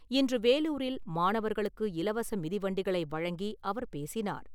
இன்று வேலூரில் மாணவர்களுக்கு இலவச மிதிவண்டிகளை வழங்கி அவர் பேசினார்.